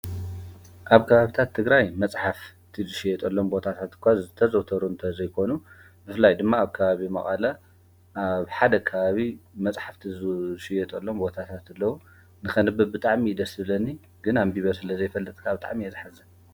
ኣብ ካባብታት ትግራይ መጽሓፍ ትድሽየጡ ሎም ቦታታት እኳ ዝተዘተሩ እንተ ዘይኮኑ ብፍላይ ድማ ኣብ ካባቢ መቓላ ኣብ ሓደ ካባቢ መጽሕፍ ቲ ዙሽየጦሎም ወታታትለዉ ንኸንቢ ብጣዕሚ ደስብለኒ ግና ኣንቢበ ስለ ዘይፈልጥካ ኣብጣዕም የዝሕዘ።